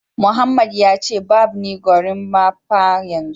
Mohammed ya ce barb ni gorimapa yanzu